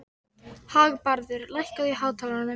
Hafði hann lent í einhverju klandri?